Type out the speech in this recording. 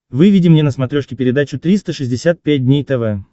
выведи мне на смотрешке передачу триста шестьдесят пять дней тв